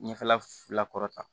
Ɲɛfɛla kɔrɔta